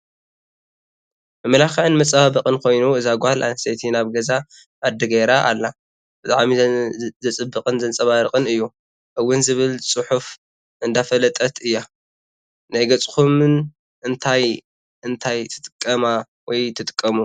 መመላክዕን መፀባበቅን ኮይኑ እዛ ጓል ኣስተይ ናብ ገዛ ዕርዲ ገይራ ኣላ ብጣዕሚ ዘፀብቅን ዘንፀባርቅንእዩ እውን ዝብል ፅሑፍ እንዳፋለጠት እያ። ናይ ገፅኹም/ን እንታይ እንታይ ትጥቀማ/ሙ?